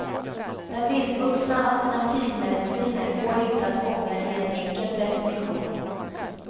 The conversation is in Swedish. Den vildvuxna alternativmedicinen går inte att fånga i en enkel definition.